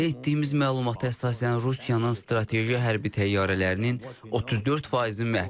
Əldə etdiyimiz məlumata əsasən Rusiyanın strateji hərbi təyyarələrinin 34 faizi məhv edilib.